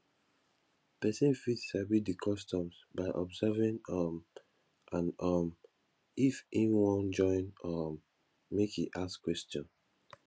persin fit sabi di customs by observing um and um if im won join um make e ask question